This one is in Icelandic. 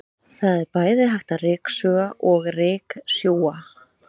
Það er bæði hægt að ryksuga og ryksjúga.